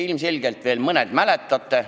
Ilmselt mõned teist veel mäletavad.